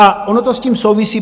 A ono to s tím souvisí.